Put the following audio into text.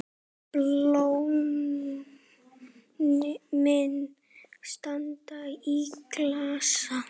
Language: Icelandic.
Blómin standa í klasa.